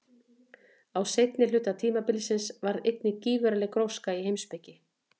Á seinni hluta tímabilsins varð einnig gífurleg gróska í heimspeki.